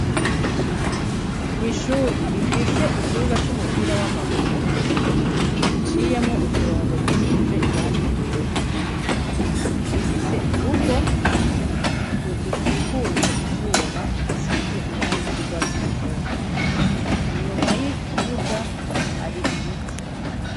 Ishuri rifise ikibuga c'umupira w'amaguru, giciyemwo uturongo dusize irangi ryera. Rifise urugo rukikujwe ivyuma bisize irangi ry'urwatsi rutoto. Inyuma y'ikibuga hari ibiti.